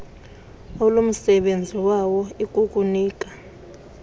olumsebenzi wayo ikukunika